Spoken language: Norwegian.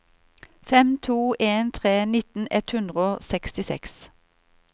fem to en tre nitten ett hundre og sekstiseks